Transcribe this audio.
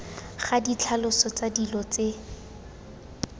ga ditlhaloso tsa dilo tse